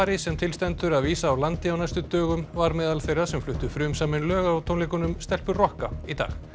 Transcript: sem til stendur að vísa úr landi á næstu dögum var meðal þeirra sem fluttu frumsamin lög á tónleikunum stelpur rokka í dag